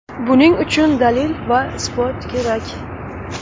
Buning uchun dalil va isbot kerak.